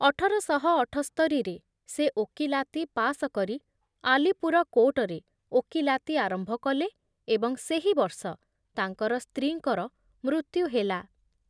ଅଠର ଶହ ଅଠସ୍ତରି ମସିହାରେ ସେ ଓକିଲାତି ପାସ କରି ଆଲିପୁର କୋର୍ଟରେ ଓକିଲାତି ଆରମ୍ଭ କଲେ ଏବଂ ସେହି ବର୍ଷ ତାଙ୍କର ସ୍ତ୍ରୀଙ୍କର ମୃତ୍ୟୁ ହେଲା ।